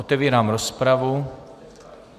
Otevírám rozpravu.